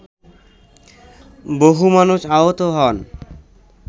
বহু মানুষ আহত হন